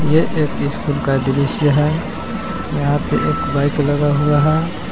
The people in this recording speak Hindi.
ये एक स्कूल का दृश्य है यहां पे एक बाइक लगा हुआ है।